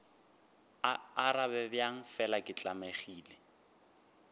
arabe bjang fela ke tlamegile